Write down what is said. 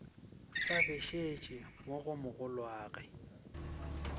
sa bešetše mo go mogolwagwe